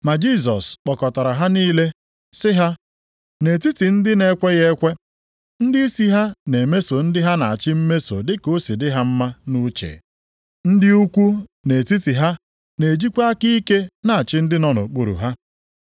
Ma Jisọs kpọkọtara ha niile, sị ha, “Nʼetiti ndị na-ekweghị ekwe, + 20:25 Maọbụ, ndị mba ọzọ ndịisi ha na-emeso ndị ha na-achị mmeso dị ka o si dị ha mma nʼuche. Ndị ukwu nʼetiti ha na-ejikwa aka ike na-achị ndị nọ nʼokpuru ha.